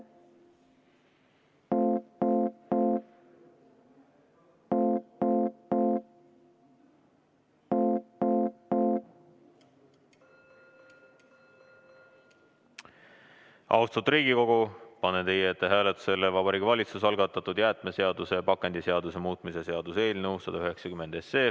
Austatud Riigikogu, panen teie ette hääletusele Vabariigi Valitsuse algatatud jäätmeseaduse ja pakendiseaduse muutmise seaduse eelnõu 190.